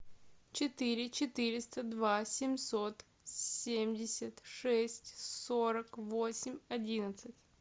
четыре четыреста два семьсот семьдесят шесть сорок восемь одиннадцать